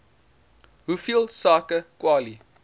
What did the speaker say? hoeveel sake kwali